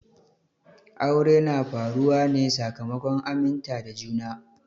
Aure na faruwa ne sakamakon aminta da juna.